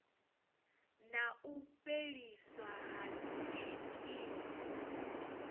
na u fheliswa ha tshikimu